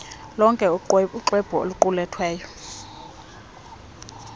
lonke uxwebhu oluqulethwe